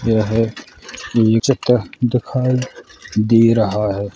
यह चित्र दिखाई दे रहा है।